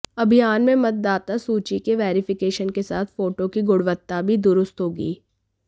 अभियान में मतदाता सूची की वेरिफिकेशन के साथ फोटो की गुणवत्ता भी दुरुस्त होगी